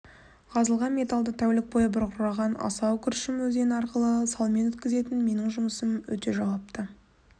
қазылған металды тәулік бойы бұрқыраған асау күршім өзені арқылы салмен өткізетін менің жұмысым өте жауапты